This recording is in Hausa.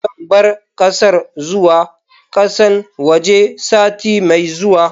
Zan bar kasar zuwa kasan waje sati mai zuwa.